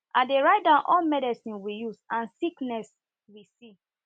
i dey write down all medicine we use and sickness we sickness we see